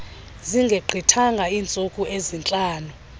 zingegqithanga iintsuku ezintlanu